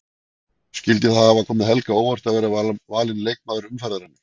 Skyldi það hafa komið Helga á óvart að vera valinn leikmaður umferðarinnar?